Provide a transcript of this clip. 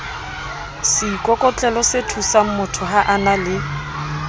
seikokotlelosethusangmotho ha a na le